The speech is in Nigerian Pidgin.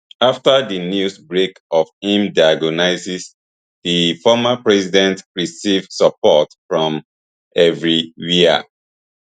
afta di news break of im diagnosis di former president receive support from evri wia